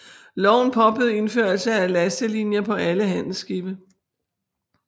Loven påbød indførelse af lastelinjer på alle handelsskibe